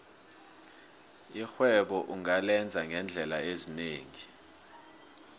irhwebo ungalenza ngeendlela ezinengi